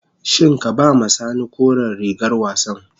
Shin ka ba ma sani koren rigar wassan.